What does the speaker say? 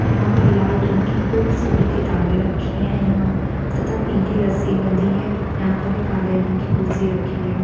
यहाँ पर लाल रंग की खूब सारी किताबें रखी है यहाँ तथा पीली रस्सी बंधी है तयहाँ पर एक काले रंग की कुर्सी रखी हैं।